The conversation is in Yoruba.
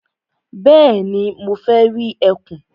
Bẹ́ẹ̀ni, mo fẹ́ rí ẹkùn.